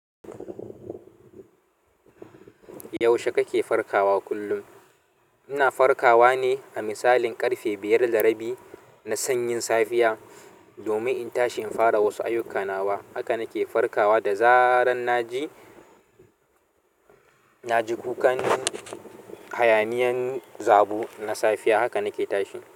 Yaushe kake farkawa kullum? Ina farkawa ne da misalin ƙarfe biyar da rabi na sanyin safiya domin in tashi in fara wasu ayyukana wa. Haka na ke farkawa da zarar na ji, na ji kukan hayaniyan zabo na safiya. Haka na ke tashi.